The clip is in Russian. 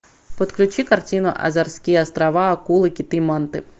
подключи картину азорские острова акулы киты манты